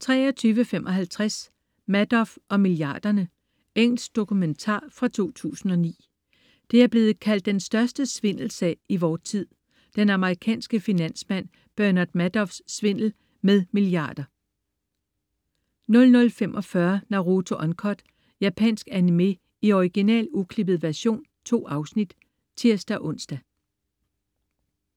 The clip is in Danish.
23.55 Madoff og milliarderne. Engelsk dokumentar fra 2009. Det er blevet kaldt den største svindelsag i vor tid: Den amerikanske finansmand Bernard Madoffs svindlen med milliarder 00.45 Naruto Uncut. Japansk animé i original, uklippet version. 2 afsnit (tirs-ons)